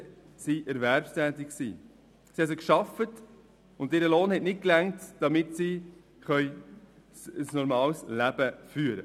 Sie haben also gearbeitet, und ihr Lohn hat für die Führung eines normalen Lebens nicht ausgereicht.